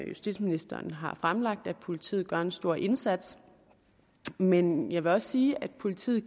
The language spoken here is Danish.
justitsministeren har fremlagt at politiet gør en stor indsats men jeg vil også sige at politiet